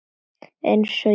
Einsog ég muni það ekki!